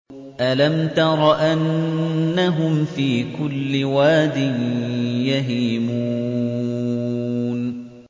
أَلَمْ تَرَ أَنَّهُمْ فِي كُلِّ وَادٍ يَهِيمُونَ